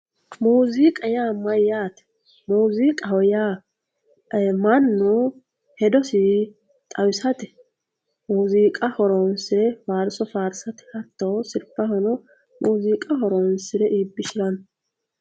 muuziiqa yaa mayyaate muziiqaho yaa mannu hedosi xawisate muziiqa horonsire faarso faarse hattono sirbaho muziiqa horonsire iibbishanno